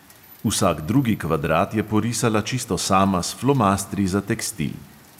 Vsak drugi kvadrat je porisala čisto sama s flomastri za tekstil.